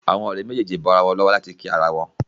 Òré méjèjì bó ira wón lówó láti kí àrà wón.